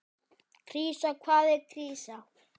Krísa, hvað er krísa?